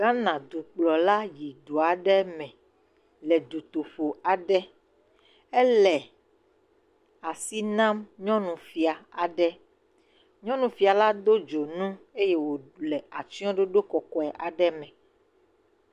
Ghana dukplɔla yi du aɖe me le dutoƒo aɖe. Ele asi nam nyɔnufia aɖe, nyɔnufia la do dzonu eye wòle atsyɔɖoɖo kɔkɔe aɖe me.